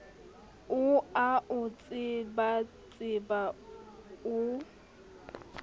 o a o tsebatseba o